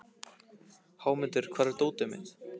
Hámundur, hvar er dótið mitt?